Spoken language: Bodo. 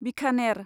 बिखानेर